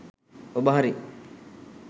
ඔබ හරි.